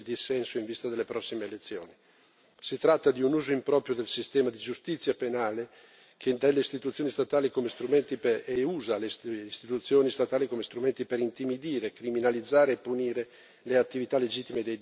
Si tratta di un uso improprio del sistema di giustizia penale che intende e usa le istituzioni statali come strumenti per intimidire, criminalizzare e punire le attività legittime dei difensori dei diritti umani e della società civile.